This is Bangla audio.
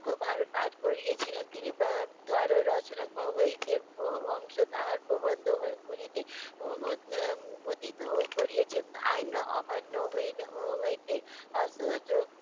পরোক্ষভাবে পাঠ করিইয়েছিলেন। তিনি রচনা হইতে বহু অংশ তাহার প্রবন্ধ গুলিতে উদ~ উম উদ্দিতও করিইয়েছেন আইন অমান্য হয়ে~ হয়েছে। অসহযোগ